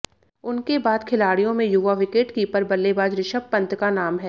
उनके बाद खिलाड़ियों में युवा विकेटकीपर बल्लेबाज ऋषभ पंत का नाम है